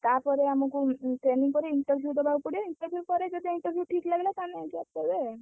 ତାପରେ ଆମକୁ training ପରେ interview ଦବାକୁ ପଡିବ। interview ପରେ ଯଦି interview ଠିକ ଲାଗିଲା ତାହେଲେ କରିବେ।